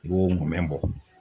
I b'o mumɛ bɔ